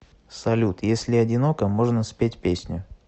салют если одиноко можно спеть песню